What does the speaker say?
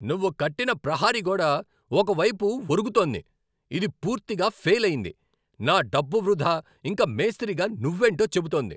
నువ్వు కట్టిన ప్రహరిగోడ ఒక వైపుకు వరుగుతోంది. ఇది పూర్తిగా ఫేలయింది, నా డబ్బు వృధా, ఇంకా మేస్త్రిగా నువ్వేంటో చెబుతోంది.